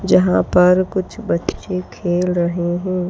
जहां पर कुछ बच्चे खेल रहे हैं।